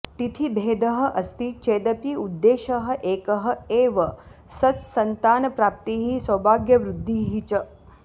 तिथिभेदः अस्ति चेदपि उद्देशः एकः एव सत्सन्तानप्राप्तिः सौभाग्यवृद्धिः च